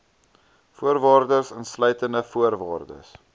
voorwaardes insluitende voorwaardes